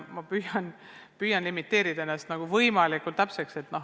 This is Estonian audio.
Ma püüan küsimust piiritleda ja vastata võimalikult täpselt.